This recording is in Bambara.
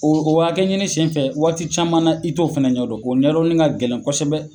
O o hakɛ ɲini senfɛ, waati caman na i t'o fana ɲɛ dɔn. O ɲɛdɔnni ka gɛlɛn kɔsɔbɛ.